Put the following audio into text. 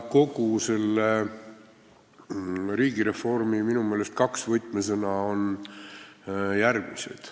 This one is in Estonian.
Kogu selle riigireformi minu meelest kaks võtmesõna on järgmised.